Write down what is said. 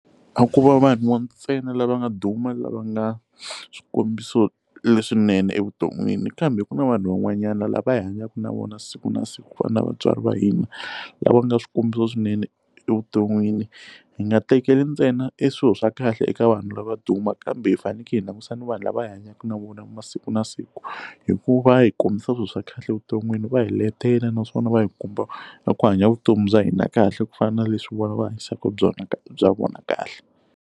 A ko va vanhu ntsena lava nga duma lava nga swikombiso leswinene evuton'wini kambe ku na vanhu van'wanyana lava hi hanyaka na vona siku na siku ku fana na vatswari va hina lava nga swikombiso swinene evuton'wini hi nga tekeli ntsena eswilo swa kahle eka vanhu lava duma kambe hi faneleke hi langusa ni vanhu lava hanyaka na vona masiku na siku hikuva va hi kombisa swilo swa kahle evuton'wini va hi letela naswona va hi kumba ku hanya vutomi bya hina kahle ku fana na leswi vona va hanyisaka byona bya vona kahle.